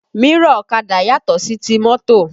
Mírọ̀ ọ̀kadà yàtò sí ti mọ́tò